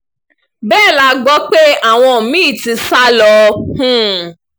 bẹ́ẹ̀ la gbọ́ pé àwọn mí-ín ti sá lọ um